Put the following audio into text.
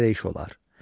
Belə də iş olar.